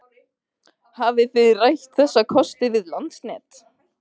Hafið þið rætt þessa kosti við Landsnet?